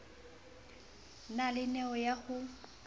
na le neo ya ho